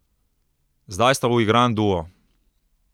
Zdaj sta uigran duo.